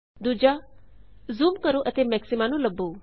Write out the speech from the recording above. ਦੂਜਾ ਜ਼ੂਮ ਕਰੋ ਅਤੇ ਮੈਕਸਿਮਾ ਨੂੰ ਲੱਭੋ